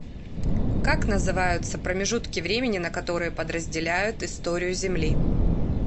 как называются промежутки времени на которые подразделяют историю земли